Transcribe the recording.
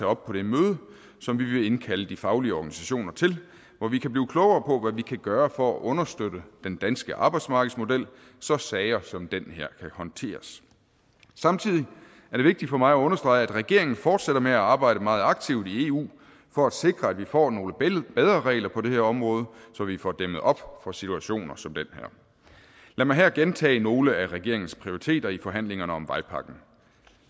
op på det møde som vi vil indkalde de faglige organisationer til og hvor vi kan blive klogere på hvad vi kan gøre for at understøtte den danske arbejdsmarkedsmodel så sager som den her kan håndteres samtidig er det vigtigt for mig at understrege at regeringen fortsætter med at arbejde meget aktivt i eu for at sikre at vi får nogle bedre regler på det her område så vi får dæmmet op for situationer som den her lad mig her gentage nogle af regeringens prioriteter i forhandlingerne om vejpakken